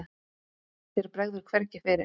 Þér bregður hvergi fyrir.